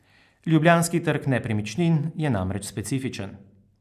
Ljubljanski trg nepremičnin je namreč specifičen.